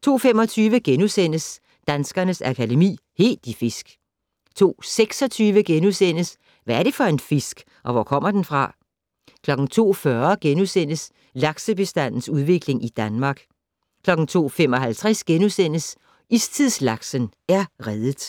02:25: Danskernes Akademi: Helt i fisk * 02:26: Hvad er det for en fisk, og hvor kommer den fra? * 02:40: Laksebestandens udvikling i Danmark * 02:55: Istidslaksen er reddet *